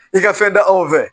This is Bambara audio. I ka fɛn da anw fɛ